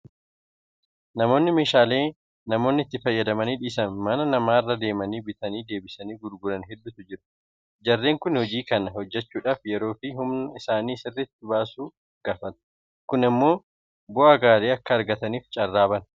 Namoonni meeshaalee namoonni itti fayyadamanii dhiisan mana namaa irra deemanii bitanii deebisanii gurguran hedduutu jiru. Jarreen kun hojii kana hojjechuudhaaf yeroofi humna isaanii sirriitti baasuu gaafata. Kun immoo bu'aa gaarii akka argataniif carraa bana.